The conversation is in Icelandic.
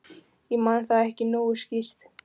Ég man það ekki nógu skýrt.